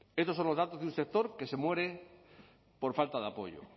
estos son los datos de un sector que se muere por falta de apoyo